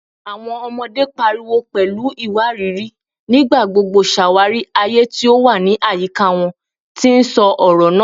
Awọn ọmọde, pariwo pẹlu iwariiri, nigbagbogbo ṣawari aye ti o wa ni ayika wọn, ti n sọ ọrọ naa